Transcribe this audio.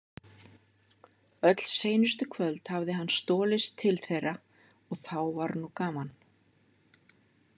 Öll seinustu kvöld hafði hann stolist til þeirra og þá var nú gaman.